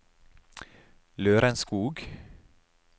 Lørenskog